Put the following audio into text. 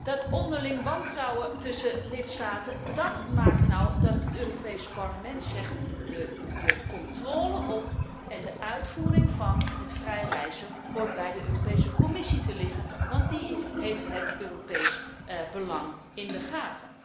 Dat onderlinge wantrouwen tussen lidstaten maakt dat het Europees Parlement zegt de controle op en de uitvoering van het vrij reizen hoort bij de Europese Commissie te liggen, want die heeft het Europees belang op het oog.